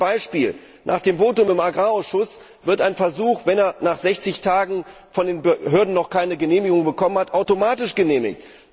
Nur ein Beispiel Nach dem Votum im Landwirtschaftsausschuss wird ein Versuch, wenn er nach 60 Tagen von den Behörden noch keine Genehmigung bekommen hat, automatisch genehmigt.